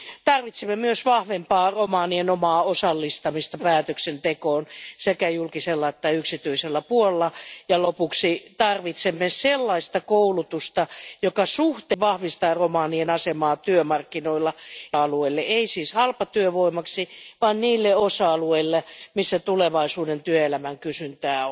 Tarvitsemme myös vahvempaa romanien omaa osallistamista päätöksentekoon sekä julkisella että yksityisellä puolella ja lopuksi tarvitsemme sellaista koulutusta, joka vahvistaa romanien asemaa työmarkkinoilla suhteellisesti, eli ei siis halpatyövoimaksi vaan niille osa alueille, joilla tulevaisuuden työelämässä on kysyntää.